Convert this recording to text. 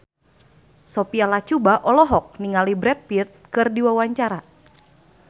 Sophia Latjuba olohok ningali Brad Pitt keur diwawancara